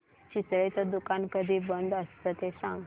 चितळेंचं दुकान कधी बंद असतं ते सांग